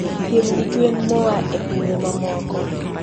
piem gi gwen moa e pinje mamoko.